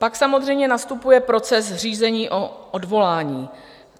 Pak samozřejmě nastupuje proces řízení o odvolání.